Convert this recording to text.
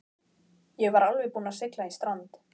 Ég var alveg búinn að sigla í strand.